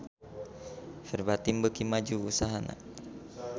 Verbatim beuki maju usahana